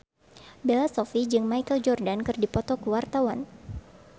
Bella Shofie jeung Michael Jordan keur dipoto ku wartawan